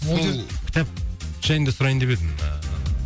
ол жер кітап жайында сұрайын деп едім ыыы